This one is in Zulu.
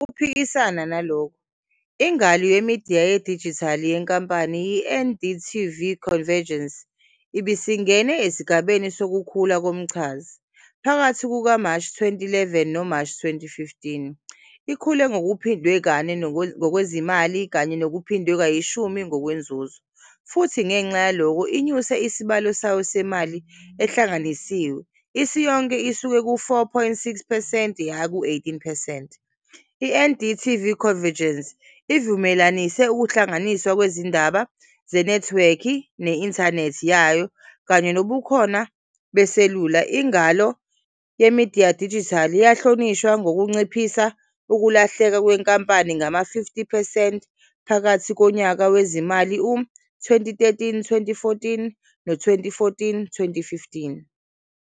Ngokuphikisana nalokho, ingalo yemidiya yedijithali yenkampani, i-NDTV Convergence ibisingene esigabeni sokukhula komchazi. Phakathi kukaMashi 2011 noMashi 2015, ikhule ngokuphindwe kane ngokwezimali kanye nokuphindwe kayishumi ngokwenzuzo futhi ngenxa yalokho inyuse isabelo sayo semali ehlanganisiwe isiyonke isuka ku-4.6 percent yaya ku-18 percent. INDTV Convergence ivumelanise ukuhlanganiswa kwezindaba zenethiwekhi ne-inthanethi yayo kanye nobukhona beselula. Ingalo yemidiya yedijithali yahlonishwa ngokunciphisa ukulahleka kwenkampani ngama-50 percent phakathi konyaka wezimali u-2013-14 no-2014-15.